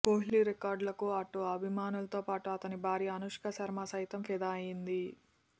కోహ్లీ రికార్డులకు అటు అభిమానులతో పాటు అతని భార్య అనుష్క శర్మ సైతం ఫిదా అయింది